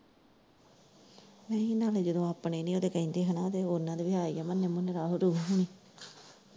ਨਹੀਂ ਇੰਨਾਂ ਦੇ ਜਦੋਂ ਆਪਣੇ ਹੀ ਓਦੇ ਕਹਿੰਦੇ ਹਨਾਂ ਤੇ ਓਨਾਂ ਦੇ ਵੀ ਹੈ ਹੀ ਐ ਮੰਨੇ- ਮੁਨੇ, ਰਾਹੁਲ- ਰੁਹਲ ਹੁਣੀ।